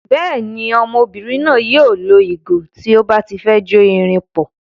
Bẹ́ẹ̀ ni, ọmọbìnrin náà yóò lo ìgò tí ó bá ti fẹ́ jó irin pọ̀.